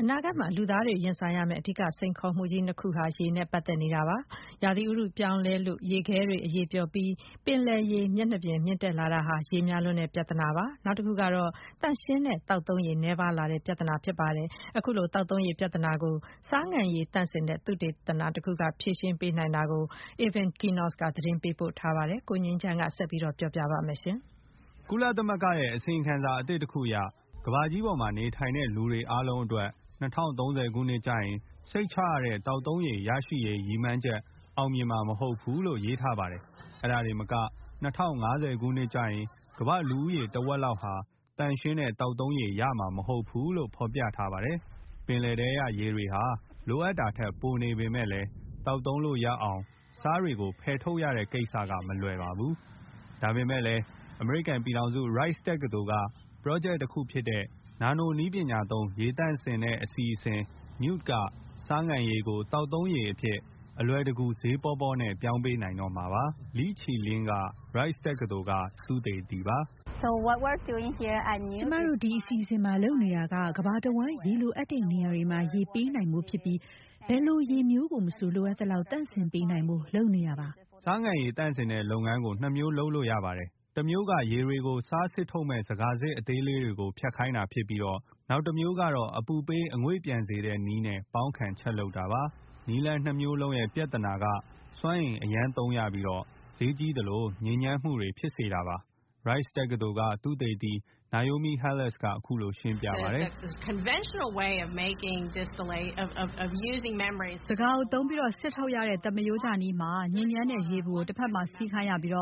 အနာဂတ်မှာ လူသားတွေ ရင်ဆိုင်ရမယ် အဓိက စိန်ခေါ်မှုကြီး နှစ်ခု ဟာ ရေ နဲ့ ပတ်သက်ပါတယ်။ ဥတုရာသီပြောင်းလဲ လို့ ရေခဲတွေ အရည်ပျော်ပြီး ပင်လယ်ရေ မျက်နှာပြင် မြင့်တက်လာတာဟာ ရေများလွန်းတဲ့ ပြဿနာပါ။ နောက်တစ်ခုကတော့ သန့်ရှင်းတဲ့ သောက်သုံးရေ နည်းပါးတဲ့ ပြဿနာဖြစ်ပါတယ်။ အခုလို သောက်သုံးရေ ပြဿနာကို ဆားငန်ရည်သန့်စင်တဲ့ သုတေသန တစ်ခု က ဖြေရှင်းနိုင်တာကို Kevin Enochs သတင်းပေးပို့ထားပါတယ်။ ကိုငြိမ်းချမ်းက ပြောပြမှာပါ။ ကုလသမဂ္ဂရဲ့ အစီရင်ခံစာ အသစ်တခု အရ ကမ္ဘာကြီး ပေါ်မှာ နေထိုင်တဲ့ လူတွေ အားလုံးအတွက် ၂၀၃၀ ခုနှစ်ကျရင် စိတ်ချရတဲ့ သောက်သုံးရေ ရရှိရေး ရည်မှန်းချက် အောင်မြင်မှာ မဟုတ်ဘူး လို့ ရေးသားထားပါတယ်။ အဲ့ဒါတင်မက ၂၀၅၀ ခုနှစ်ကျရင် ကမ္ဘာ့ လူဦးရေ တဝက်လောက်ဟာ သန့်ရှင်းတဲ့သောက်သုံးရေ ရမှာမဟုတ်ဘူး လို့ ဖော်ပြထားပါတယ်။ ပင်လယ်ထဲက ရေတွေဟာ လိုအပ်တာထက် ပိုနေပေမဲ့လည်း သောက်သုံးလို့ရအောင် ဆားတွေကို ဖယ်ထုတ်ရတဲ့ ကိစ္စက မလွယ်ပါဘူး။ ဒါပေမဲ့လည်း Rice တက္ကသိုလ်က ပရောဂျက်တစ်ခုဖြစ်တဲ့ နာနိုနည်းပညာသုံး ရေသန့်စင်တဲ့ အစီအစဉ် NEWT က ဆားငန်ရည်ကို သောက်သုံးရေ အဖြစ် အလွယ်တကူ ဈေးပေါပေါ နဲ့ ပြောင်းပေးနိုင်တော့မှာပါ။ Li Qilin က Rice တက္ကသိုလ်က သုတေသီပါ။ “ကျမတို့ ဒီ အစီအစဉ်မှာ လုပ်နေတာက ကမ္ဘာတဝန်း ရေလိုအပ်တဲ့ နေရာတွေမှာ ရေ ပေးနိုင်ဖို့ ဖြစ်ပြီး ဘယ်လို ရေမျိုးကို မဆို လိုအပ်သလောက် သန့်စင်ပေးနိုင်ဖို့ လုပ်နေတာပါ။ ဆားငန်ရည်သန့်စင်တဲ့ လုပ်ငန်း မှာ ၂ မျိုးရှိပါတယ်။ ၁ မျိုးက ရေတွေ ကို ဆားစစ်ထုတ်မယ့် ဇကာ စစ်အသေးလေးတွေကို ဖြတ်ခိုင်းတာဖြစ်ပြီး နောက်တစ်မျိုးကတော့ အပူပေး အငွေ့ပျံစေတဲ့ နည်းနဲ့ ပေါင်းခံ ချက်လုပ်တာပါ။ နည်း လမ်း ၂ မျိုးလုံး ရဲ့ ပြဿနာက စွမ်းအင် အရမ်းသုံးရပြီးတော့ ဈေးကြီးသလို ညစ်ညမ်းမှု တွေ ဖြစ်စေတာပါ။ Rice တက္ကသိုလ် သုတေသီ Naomi Halas က အခုလို ရှင်းပြပါတယ်။ “ဇကာကိုသုံးပြီး စစ်ထုတ်ရတဲ့ သမာရိုးကျနည်းမှာ ညစ်ညမ်းတဲ့ ရေပူ ကို တဘက် မှာ စီးခိုင်းရပြီး